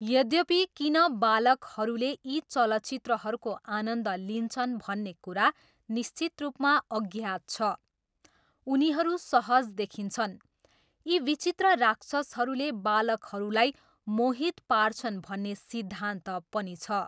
यद्यपि किन बालकहरूले यी चलचित्रहरूको आनन्द लिन्छन् भन्ने कुरा निश्चित रूपमा अज्ञात छ। उनीहरू सहज देखिन्छन्। यी विचित्र राक्षसहरूले बालकहरूलाई मोहित पार्छन् भन्ने सिद्धान्त पनि छ।